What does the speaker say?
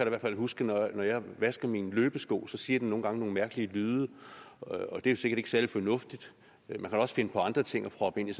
i hvert fald huske at når jeg vasker mine løbesko så siger den nogle gange nogle mærkelige lyde og det er sikkert ikke særlig fornuftigt man kan også finde på andre ting at proppe ind i